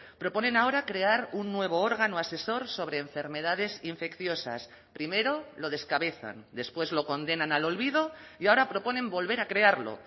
proponen ahora crear un nuevo órgano asesor sobre enfermedades infecciosas primero lo descabezan después lo condenan al olvido y ahora proponen volver a crearlo